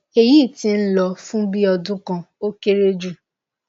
eyi ti n lọ fun bi ọdun kan o kere ju